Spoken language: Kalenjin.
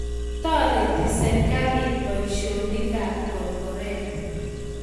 Toriti serikalit boisionik ab korkoret